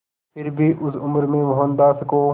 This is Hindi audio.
फिर भी उस उम्र में मोहनदास को